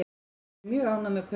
Við erum mjög ánægð með kaupin.